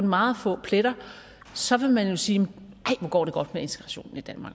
meget få pletter så vil man jo sige nej hvor går det godt med integrationen i danmark